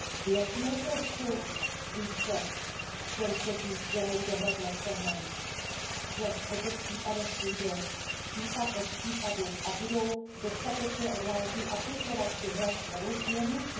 Věřme trochu více těm, kteří dělají dohled nad trhem, že po těch případech půjdou případ od případu a budou dostatečně odvážní aplikovat tuhle novou směrnici.